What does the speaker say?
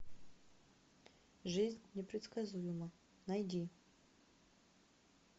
жизнь непредсказуема найди